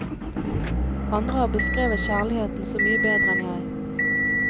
Andre har beskrevet kjærligheten så mye bedre enn jeg.